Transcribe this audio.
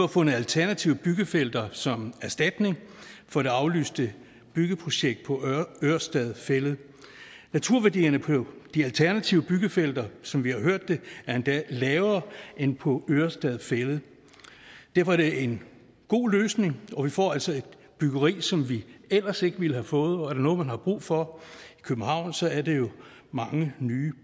fundet alternative byggefelter som erstatning for det aflyste byggeprojekt på ørestad fælled naturværdierne på de alternative byggefelter som vi har hørt det er endda lavere end på ørestad fælled derfor er det en god løsning og vi får altså et byggeri som vi ellers ikke ville have fået og er der noget man har brug for i københavn så er det jo mange nye